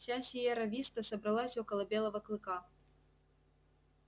вся сиерра виста собралась около белого клыка